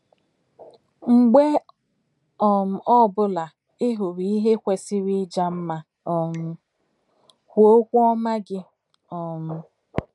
Mgbe ọ um bụla ị hụrụ ihe kwesịrị ịja mma um, kwuo okwu ọma gị um.